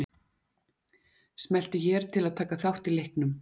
Smelltu hér til að taka þátt í leiknum